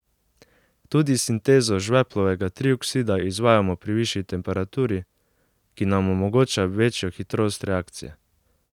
Tudi sintezo žveplovega trioksida izvajamo pri višji temperaturi, ki nam omogoča večjo hitrost reakcije.